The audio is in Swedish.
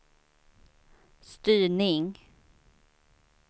styrning